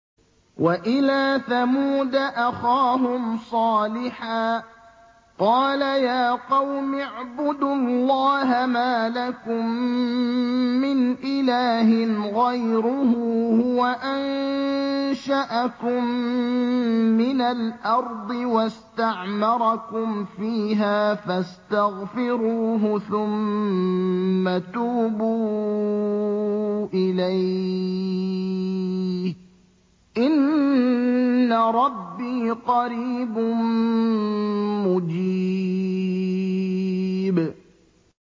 ۞ وَإِلَىٰ ثَمُودَ أَخَاهُمْ صَالِحًا ۚ قَالَ يَا قَوْمِ اعْبُدُوا اللَّهَ مَا لَكُم مِّنْ إِلَٰهٍ غَيْرُهُ ۖ هُوَ أَنشَأَكُم مِّنَ الْأَرْضِ وَاسْتَعْمَرَكُمْ فِيهَا فَاسْتَغْفِرُوهُ ثُمَّ تُوبُوا إِلَيْهِ ۚ إِنَّ رَبِّي قَرِيبٌ مُّجِيبٌ